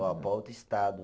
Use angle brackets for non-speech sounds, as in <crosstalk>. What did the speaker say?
<unintelligible> Para outro estado.